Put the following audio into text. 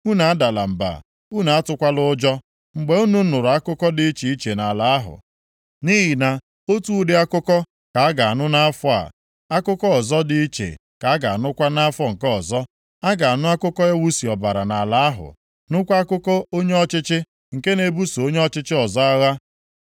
Unu adala mba, unu atụkwala ụjọ, mgbe unu nụrụ akụkọ dị iche iche nʼala ahụ. Nʼihi na otu ụdị akụkọ ka a ga-anụ nʼafọ a, akụkọ ọzọ dị iche ka a ga-anụkwa nʼafọ nke ọzọ. A ga-anụ akụkọ iwusi ọbara nʼala ahụ, nụkwa akụkọ onye ọchịchị nke na-ebuso onye ọchịchị ọzọ agha.